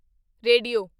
radio